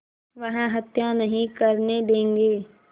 वह हत्या नहीं करने देंगे